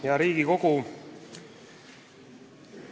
Hea Riigikogu!